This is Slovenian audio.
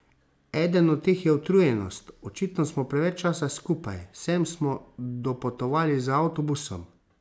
Eden od teh je utrujenost, očitno smo preveč časa skupaj, sem smo dopotovali z avtobusom.